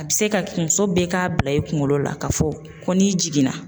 A bɛ se ka muso bɛɛ k'a bila i kunkolo la ka fɔ ko n'i jiginna.